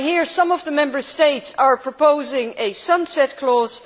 Some of the Member States are proposing a sunset clause.